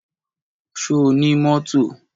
Ṣo ní mọ́tò?